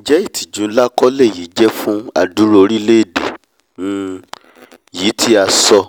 njẹ́ ìtìjú nlá kọ́ lèyí jẹ́ fún adúrú orílẹ̀èdè um yìí tí a sọ